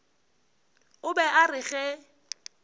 o be a re ge